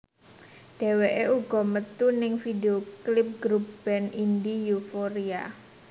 Dheweké uga metu ning video klip grup band Indi Euphoria